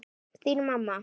Þín, mamma.